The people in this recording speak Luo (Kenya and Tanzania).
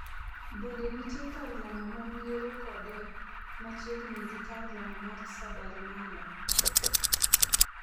Bende nitie kar lamo ma miere kode machiegni gi kar lamo mar Sabarimala.